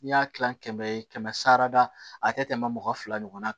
N'i y'a kilan kɛmɛ ye kɛmɛ sara la a tɛ tɛmɛ mɔgɔ fila ɲɔgɔnna kan